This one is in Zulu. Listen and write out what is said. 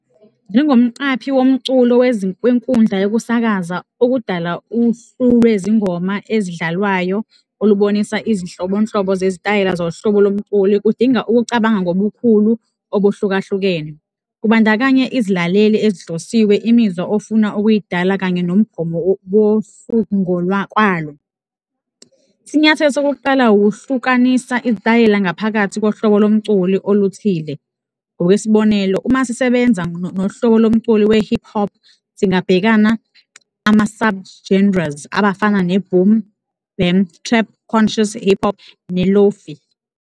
Njengomqaphi womculo wenkundla yokusakaza, ukudala uhlu lwezingoma ezidlalwayo olubonisa izinhlobonhlobo zezitayela zohlobo lomculi kudinga ukucabanga ngobukhulu obuhlukahlukene. Kubandakanya izilaleli ezihlosiwe, imizwa ofuna ukuyidala kanye nomgomo wohlu ngokwalo. Isinyathelo sokuqala ukuhlukanisa izitayela ngaphakathi kohlobo lomculi oluthile, ngokwesibonelo, uma sisebenza nohlobo lomculi we-hip hop, singabhekana ama-sub-genres abafana ne-Boom bap, Trap conscious, i-hip hop ne-Lo-fi.